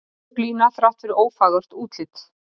Örugg lína þrátt fyrir ófagurt útlit